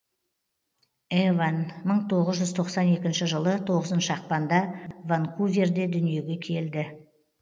эван мың тоғыз жүз тоқсан екінші жылы тоғызыншы ақпанда ванкуверде дүниеге келді